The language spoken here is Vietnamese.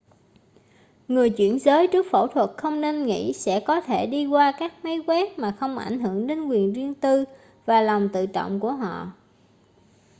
người chuyển giới trước phẫu thuật không nên nghĩ sẽ có thể đi qua các máy quét mà không ảnh hưởng đến quyền riêng tư và lòng tự trọng của mình